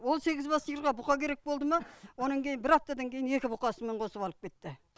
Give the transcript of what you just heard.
ол сегіз бас сиырға бұқа керек болды ма онан кейін бір аптадан кейін екі бұқасымен қосып алып кетті